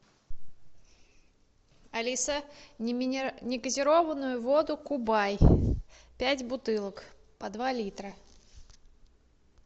алиса негазированную воду кубай пять бутылок по два литра